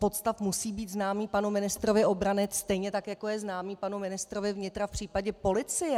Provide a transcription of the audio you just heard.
Podstav musí být známý panu ministrovi obrany, stejně tak jako je známý panu ministrovi vnitra v případě policie.